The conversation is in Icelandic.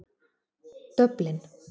Dublin